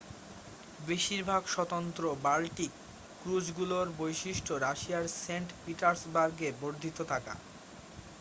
বেশিরভাগ স্বতন্ত্র বাল্টিক ক্রুজগুলোর বৈশিষ্ট্য রাশিয়ার সেন্ট-পিটার্সবার্গে বর্ধিত থাকা